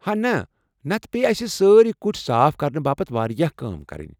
ہا نہ، نتہٕ پیٚیہ اسہِ سٲری کُٹھۍ صاف كرنہٕ باپت واریاہ کٲم کرٕنۍ۔